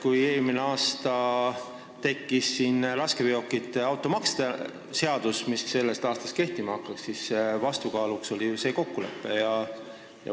Kui eelmine aasta tekkis raskeveokite automaksu seadus, mis sellest aastast kehtima hakkas, siis vastukaaluks oli ju see kokkulepe.